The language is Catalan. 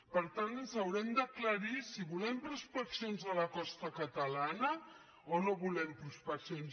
per tant ens haurem d’aclarir si volem prospeccions a la costa catalana o no hi volem prospeccions